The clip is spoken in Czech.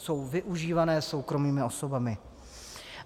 Jsou využívané soukromými osobami.